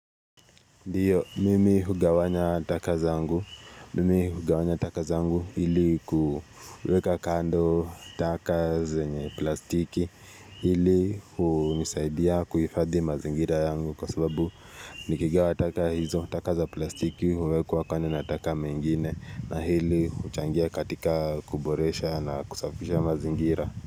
Ndio, mimi hugawanya taka zangu. Mimi hugawanya taka zangu ili kuweka kando taka zenye plastiki hili unisaidia kuifadhi mazingira yangu kwa sababu nikigawa taka hizo taka za plastiki huwekwa kando na taka mengine na hili uchangia katika kuboresha na kusafisha mazingira.